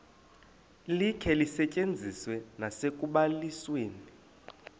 likhe lisetyenziswe nasekubalisweni